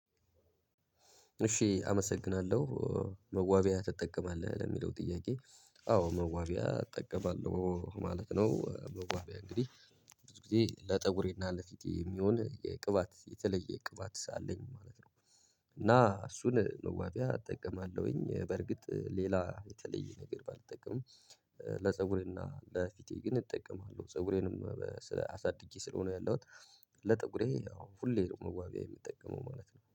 እሺ አመሰግናለሁ መዋቢያ ትጠቀማለህ ለሚለው ጥያቄ? አዎ መዋቢያ እጠቀማለሁ ማለት ነው መዋቢያ እንግዲህ ብዙ ጊዜ ለጠጉሬና ለፊቴ የሚሆን የቅባት የተለየ ቅባት አለኝ ማለት ነው። እና እሱን መዋቢያ እጠቀማለሁኝ በርግጥ ሌላ የተለየ ነገር ባልጠቀምም። ለፀጉሬና ለፊቴ ግን እጠቀማለሁ ፀጉሬንም አሳድጌ ስለሆነ ያለሁት። ለጠጉሬ ያው ሁሌ ነው መዋቢያ ምጠቀመው ማለት ነው